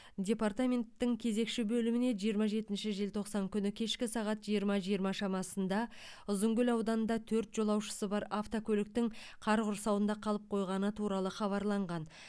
департаменттің кезекші бөліміне жиырма жетінші желтоқсан күні кешкі сағат жиырма жиырма шамасында ұзынкөл ауданында төрт жолаушысы бар автокөліктің қар құрсауында қалып қойғаны туралы хабарлаған